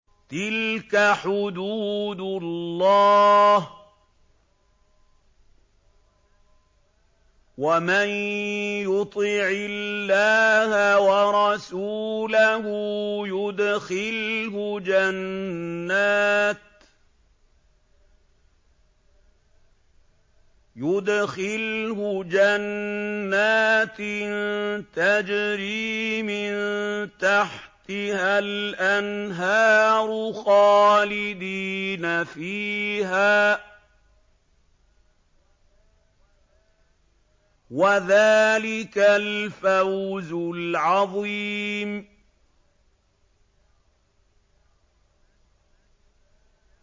تِلْكَ حُدُودُ اللَّهِ ۚ وَمَن يُطِعِ اللَّهَ وَرَسُولَهُ يُدْخِلْهُ جَنَّاتٍ تَجْرِي مِن تَحْتِهَا الْأَنْهَارُ خَالِدِينَ فِيهَا ۚ وَذَٰلِكَ الْفَوْزُ الْعَظِيمُ